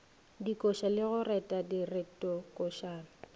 dikoša le go reta diretokošana